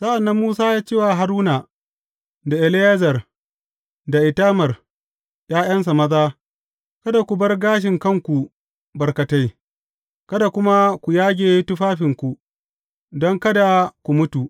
Sa’an nan Musa ya ce wa Haruna da Eleyazar da Itamar ’ya’yansa maza, Kada ku bar gashin kanku barkatai, kada kuma ku yage tufafinku, don kada ku mutu.